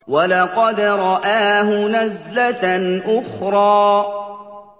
وَلَقَدْ رَآهُ نَزْلَةً أُخْرَىٰ